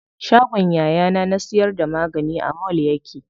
Shagon yayana na siyar da magani a mall yake.